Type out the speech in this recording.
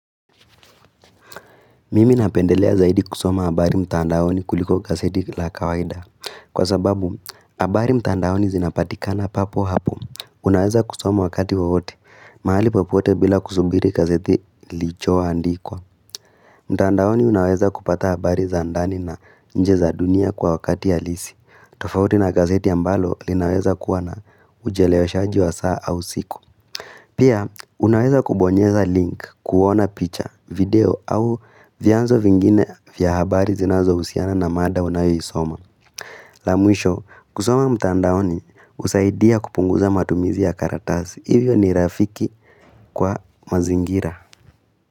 Mimi napendelea zaidi kusoma habari mtandaoni kuliko gazeti la kawaida Kwa sababu, habari mtandaoni zinapatikana papo hapo Unaweza kusoma wakati wote, mahali popote bila kusubiri gazeti lilicho andikwa mtandaoni unaweza kupata habari za ndani na nje za dunia kwa wakati halisi tofauti na gazeti ambalo linaweza kuwa na ucheleweshaji wa saa au siku Pia, unaweza kubonyeza link kuona picha, video au vyanzo vingine vya habari zinazohusiana na mada unayoisoma. La mwisho, kusoma mtandaoni, husaidia kupunguza matumizi ya karatasi. Hivyo ni rafiki kwa mazingira.